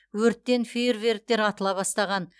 өрттен фейерверктер атыла бастаған